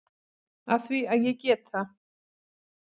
Af því að ég get það.